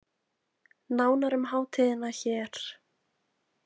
Nánar um hátíðina hér